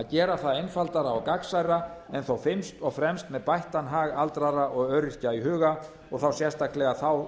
gera það einfaldara og gagnsærra en þó fyrst og fremst með bættan hag aldraðra og öryrkja í huga og sérstaklega þá